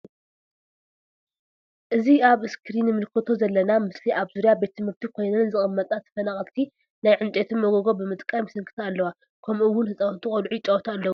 እዚ ኣብ እስክሪን ንምልከቶ ዘለና ምስሊ ኣብ ዙርያ ቤት ትምህርቲ ኮይነን ዝቅመጣ ተፈናቀልቲ ናይ ዕንጨይቲ ሞጎጎ ብምጥቃም ይስንክታ ኣለዋ። ከመኡ እውን ህጻውንቲ ቆልዑ ይጻወቱ ኣለው።